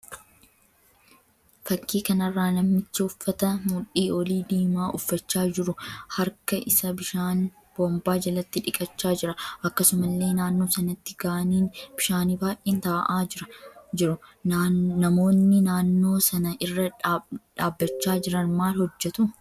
Fakkii kanarraa namichi uffata mudhii olii diimaa uffachaa jiru harka isa bishaan boombaa jalatti dhiqachaa jira. Akkasumallee naannoo sanatti gaaniin bishaanii baay'een ta'aa jiru. Namoonni naannoo sana irra dhabbachaa jiran maal hojjetu?